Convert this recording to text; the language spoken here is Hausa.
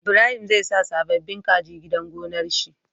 Ibrahim zai sa sababin kaji gidan gonar shi